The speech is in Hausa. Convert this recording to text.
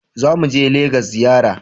Za mu je Legas ziyara